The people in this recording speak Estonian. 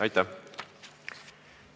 Aitäh!